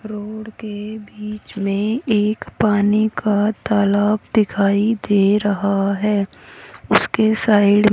road के बीच में एक पानी का तालाब दिखाई दे रहा है उसके साइड --